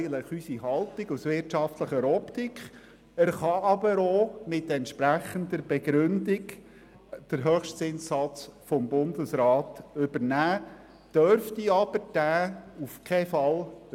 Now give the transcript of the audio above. Er kann aber auch mit entsprechender Begründung den Höchstzinssatz des Bundesrats übernehmen, dürfte diesen aber auf keinen Fall überschreiten.